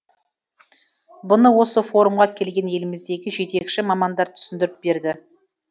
бұны осы форумға келген еліміздегі жетекші мамандар түсіндіріп берді